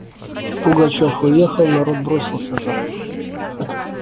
пугачёв уехал народ бросился за ним